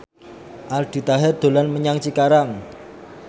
Aldi Taher dolan menyang Cikarang